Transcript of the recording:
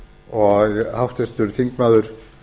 og háttvirtur þingmaður